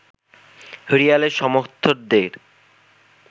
রিয়ালের সমর্থকদের